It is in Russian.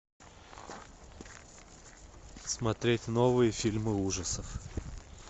смотреть новые фильмы ужасов